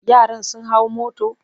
Yaran sun hau motor?